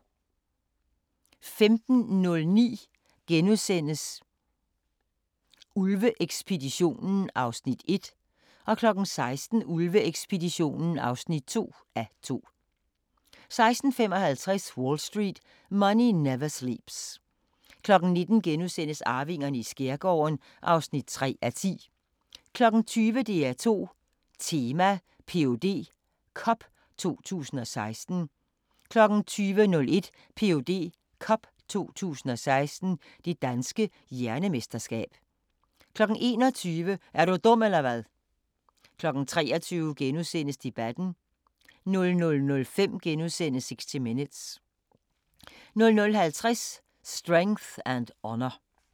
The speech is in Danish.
15:09: Ulve-ekspeditionen (1:2)* 16:00: Ulve-ekspeditionen (2:2) 16:55: Wall Street: Money Never Sleeps 19:00: Arvingerne i skærgården (3:10)* 20:00: DR2 Tema: Ph.D. Cup 2016 20:01: Ph.D. Cup 2016 – Det Danske Hjernemesterskab 21:00: Er du dum eller hvad? 23:00: Debatten * 00:05: 60 Minutes * 00:50: Strength and Honour